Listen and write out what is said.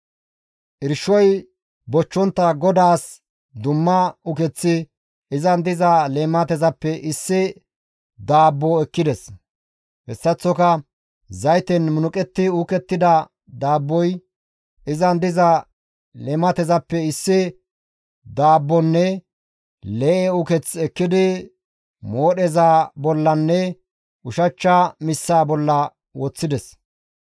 Irshoy bochchontta GODAAS dumma ukeththi izan diza leematezappe issi daabbo ekkides; hessaththoka zayten munuqetti uukettida daabboy izan diza leematezappe issi daabbonne lee7e uketh ekkidi moodheza bollanne ushachcha missaa bolla woththides.